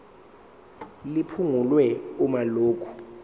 liphungulwe uma lokhu